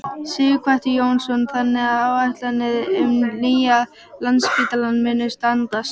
Sighvatur Jónsson: Þannig að áætlanir um nýjan Landspítala munu standast?